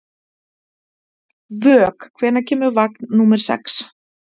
Vök, hvenær kemur vagn númer sex?